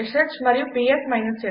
Bosch ష్ మరియు PS f